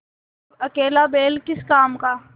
अब अकेला बैल किस काम का